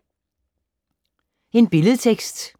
Billedtekst: